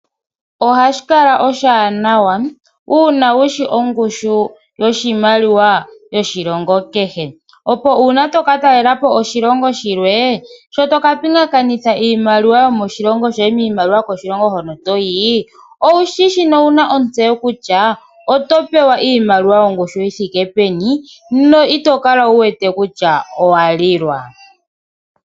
ohashi kala oshiwanawa uuna wushi ongushu yoshimaliwa yoshilongo kehe, opo uuna toka talela po oshilongo shilwe sho toka pingakanitha iimaliwa yomo shilongo sheni niimaliwa yoko shilongo hono to yi owu shishi nowuna ontseyo kutya oto pewa iimaliwa yongushu yithike peni, no itokala wu wete kutya owa lilwa.